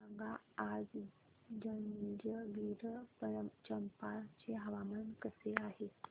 सांगा आज जंजगिरचंपा चे हवामान कसे आहे